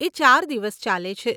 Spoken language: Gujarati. એ ચાર દિવસ ચાલે છે.